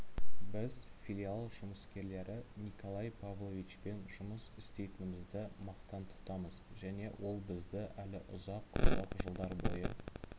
біз филиал жұмыскерлері николай павловичпен жұмыс істейтінімізді мақтан тұтамыз және ол бізді әлі ұзақ-ұзақ жылдар бойы